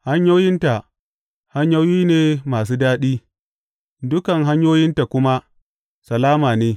Hanyoyinta hanyoyi ne masu daɗi, dukan hanyoyinta kuma salama ne.